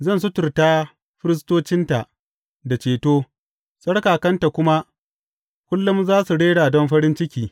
Zan suturta firistocinta da ceto, tsarkakanta kuma kullum za su rera don farin ciki.